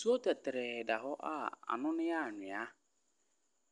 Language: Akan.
Nsuo tɛtrɛɛ da hɔ a n'ano no yɛ anhwea.